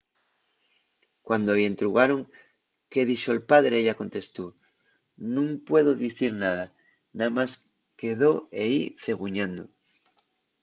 cuando-y entrugaron qué dixo’l padre ella contestó nun pudo dicir nada – namás quedó ehí ceguñando